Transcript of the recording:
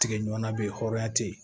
Tigɛɲɔgɔnna bɛ yen hɔrɔnya te yen